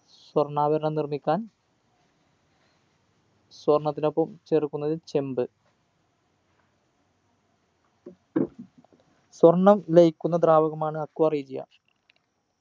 സ്വർണ്ണാഭരണം നിർമ്മിക്കാൻ സ്വർണ്ണത്തിനൊപ്പം ചേർക്കുന്നത് ചെമ്പ് സ്വർണ്ണം ലയിക്കുന്ന ദ്രാവകമാണ് aqua regia